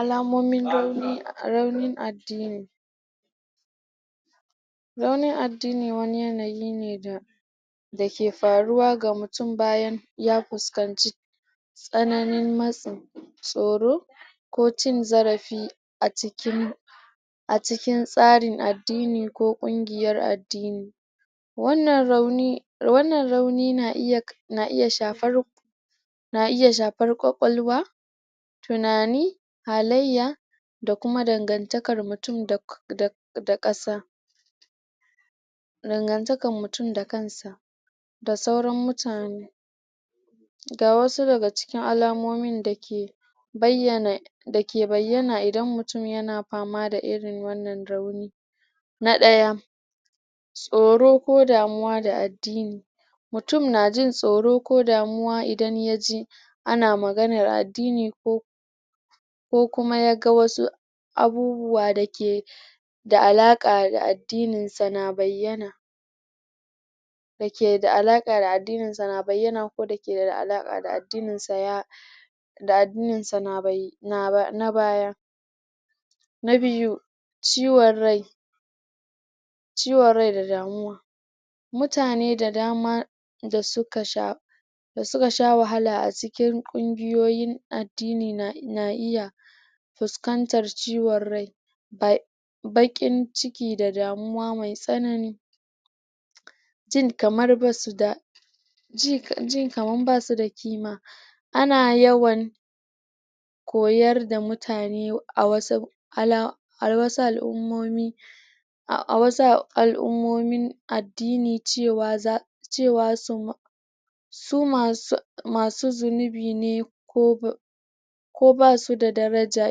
alamomin rauni raunin addini raunin addini wani yanayi ne da dake faruwa ga mutum bayan ya fuskanci tsananin matsi tsoro ko cin zarafi a cikin a cikin tsarin addini ko ƙungiyar addini wannan rauni wannan rauni na iya ka na iya shafar na iya shafar ƙwaƙwalwa tunani halayya dakuma dangantakar mutum da ƙasa. dangantakar mutum dakansa da sauran mutane ga wasu daga cikin alamomin dake bayyana dake bayyana idan mutum yana fama da irin wannan rauni na ɗaya tsoro ko damuwa da addini mutum najin tsoro ko damuwa idan yaji ana maganar addini ko ko kuma yaga wasu abubuwa dake da alaƙa da addinin sa na bayyana dake da alaƙa da addinin sa na bayyana ko dakeda alaƙa da addinin sa ya da addinin sa na baya na biyu ciwon rai ciwon rai da damuwa mutane da dama da suka sha da suka sha wahala a cikin ƙungiyoyin addini na iya fuskantar ciwon rai ba baƙin ciki da damuwa mai tsanani jin kamar basuda jin kamar basuda kima ana yawan koyar da mutane a wasu al'ummomi a wasu al'ummomin addini cewa za cewa suma sumasu masu zunubi ne ko ba ko basu da daraja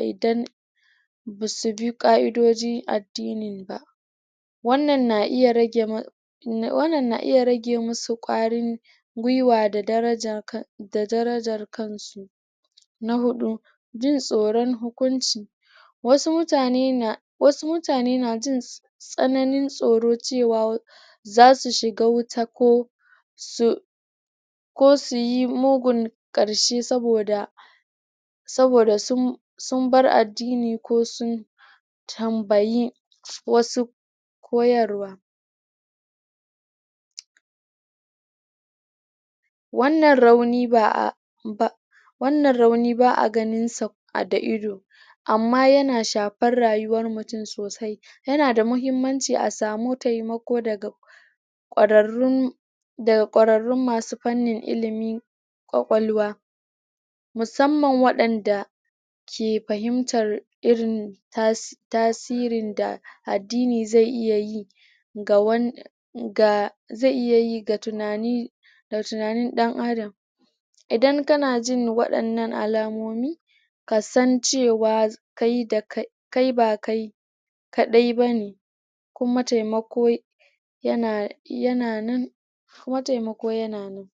idan basubi ƙa'idojin addinin ba wannan na iya rage wannan na iya rage musu ƙwarin gwiwa da darajar kan da darajar kansu na huɗu jin tsoron hukuncin wasu mutane na wasu mutane na jin tsananin tsoro cewa zasu shiga wuta ko su ko suyi mugun ƙarshe saboda saboda sun sunbar addini ko sun tambayi wasu koyarwa wannan rauni ba'a wannan rauni ba'a ganin sa da ido amma yana shafar rayuwar mutum sosai yana da mahimmanci a samu taimako daga ƙwararrun da ƙwararrun masu fannin ilimi ƙwaƙwalwa musamman waɗanda ke fahimtar irin tasirin da addini zai iya yi ga wan ga zai iyayi ga tunani ga tunanin ɗan adam idan kana jin waɗannan alamomi kasan cewa kai da kai kai ba kai kaɗai bane kuma taimako yana yana nankuma taimako yana nan